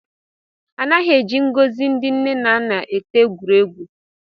Anaghị eji ngọzi ndị nne na nna eti egwuregwu